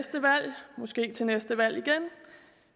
måske ved næste valg igen